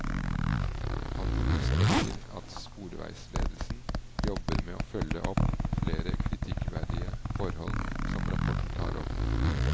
Han understreker at sporveisledelsen jobber med å følge opp flere kritikkverdige forhold som rapporten tar opp.